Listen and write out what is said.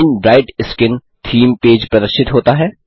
shine bright skin theme page प्रदर्शित होता है